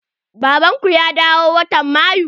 Baban ku ya dawo watan Mayu?